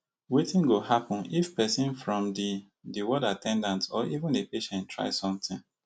wetin go happun if pesin from di di ward at ten dant or even a patient try sometin